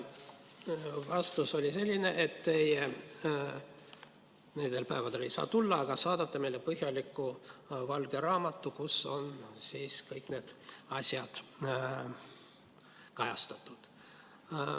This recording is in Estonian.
Vastus oli selline, et nendel päevadel teie ei saa tulla, aga saadate meile põhjaliku valge raamatu, kus on kõik need asjad kajastatud.